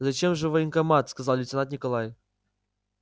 зачем же в военкомат сказал лейтенант николай